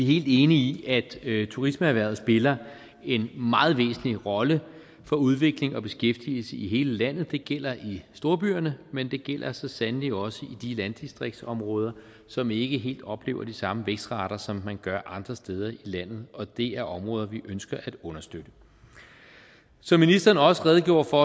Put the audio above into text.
helt enige i at turismeerhvervet spiller en meget væsentlig rolle for udvikling og beskæftigelse i hele landet det gælder i storbyerne men det gælder så sandelig også i de landdistriktsområder som ikke helt oplever de samme vækstrater som man gør andre steder i landet og det er områder vi ønsker at understøtte som ministeren også redegjorde for